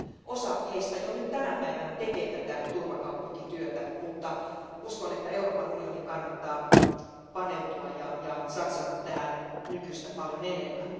Osa heistä jo nyt tänä päivänä tekee tätä turvakaupunkityötä. Uskon kuitenkin, että Euroopan unionin kannattaa paneutua ja satsata tähän nykyistä paljon enemmän.